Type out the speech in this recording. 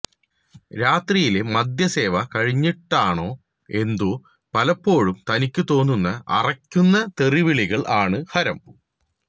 രാത്രിയിലെ മദ്യസേവ കഴിഞ്ഞിട്ടാണോ എന്തോ പലപ്പോഴും തനിക്ക് തോന്നുന്ന അറക്കുന്ന തെറിവിളീകൾ ആണ് ഹരം